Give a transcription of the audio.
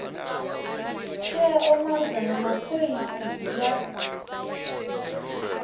tsheo malugana na phoisi ya